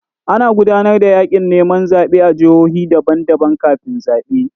Ana gudanar da yaƙin neman zaɓe a jihohi daban-daban kafin zaɓe.